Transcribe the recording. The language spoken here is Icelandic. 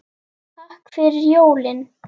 Takk fyrir jólin.